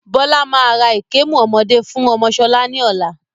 Bọlá máa ra ìkemù ọmọdé fún ọmọ sọlá ni ọ̀la